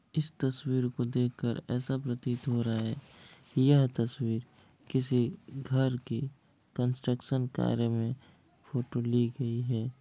इस तस्वीर को देखकर ऐसा प्रतीत हो रहा है यह तस्वीर किसी घर के कन्स्ट्रक्शन कार्य में फोटो ली गई है।